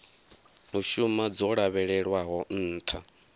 u shuma dzo lavhelelwaho nṱha